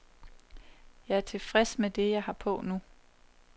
Jeg er tilfreds med det, jeg har på nu.